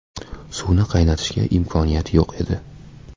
Suvni qaynatishga imkoniyat yo‘q e di .